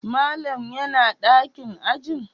Malam yana dakin ajin?